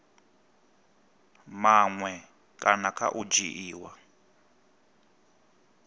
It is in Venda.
maṅwe kana kha u dzhiiwa